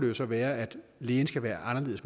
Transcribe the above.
jo så være at lægen skal være anderledes